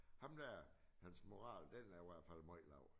Ham dér hans moral den er i hvert fald møj lav